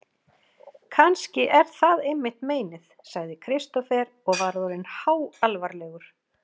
Kannski er það einmitt meinið, sagði Kristófer og var orðinn háalvarlegur.